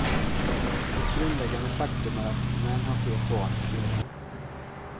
Ett grundläggande faktum är att män har fler barn än kvinnor.